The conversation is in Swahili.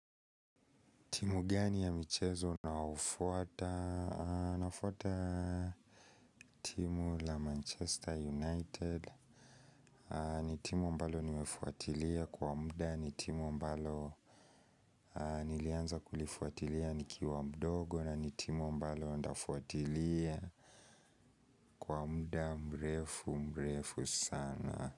Timu gani ya michezo naofuata nafuata timu la Manchester United. Ni timu ambalo nimefuatilia kwa muda ni timu ambalo nilianza kulifuatilia nikiwa mdogo. Na ni timu ambalo ndafuatilia kwa muda mrefu mrefu sana.